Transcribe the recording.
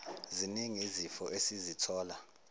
ziningi izifo esizithola